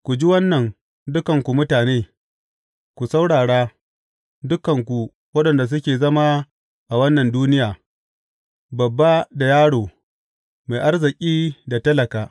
Ku ji wannan, dukanku mutane; ku saurara, dukanku waɗanda suke zama a wannan duniya, babba da yaro mai arziki da talaka.